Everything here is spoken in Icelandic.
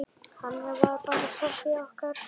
Þannig var bara Soffía okkar.